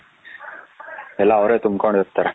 ಎಲ್ಲ ಅವರೇ ತುಂಬಕೊಂಡ ಇರ್ತಾರೆ.